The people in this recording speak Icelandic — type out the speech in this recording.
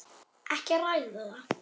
Ekki að ræða það.